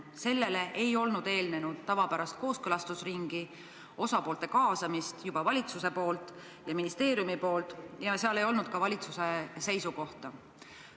Sellele ei olnud eelnenud tavapärast kooskõlastusringi, osapoolte kaasamist valitsuse ja ministeeriumi poolt ning ei olnud ka valitsuse seisukohta.